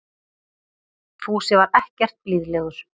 Fúsi var ekkert blíðlegur.